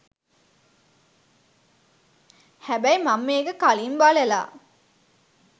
හැබැයි මං මේක කලින් බලලා